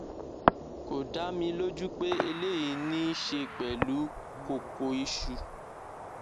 kò dá mi lójú pé eléyìí ní í ṣe pẹlú kókóìsù